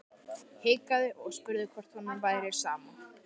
Hikaði og spurði hvort honum væri sama.